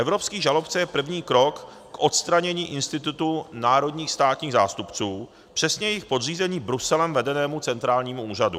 Evropský žalobce je první krok k odstranění institutu národních státních zástupců, přesně jejich podřízení Bruselem vedeném centrálnímu úřadu.